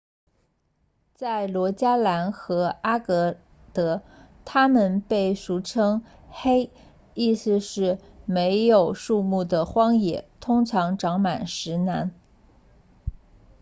在罗加兰和阿格德它们被俗称为 hei 意思是没有树木的荒野通常长满石南